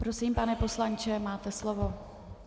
Prosím, pane poslanče, máte slovo.